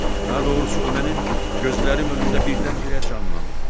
Daha doğrusu o mənim gözlərim önündə birdən-birə canlanıb.